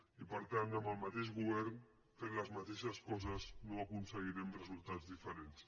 i per tant amb el mateix govern fent les mateixes coses no aconseguirem resultats diferents